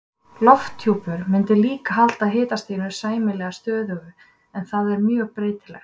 Lofthjúpur mundi líka halda hitastiginu sæmilega stöðugu en það er mjög breytilegt.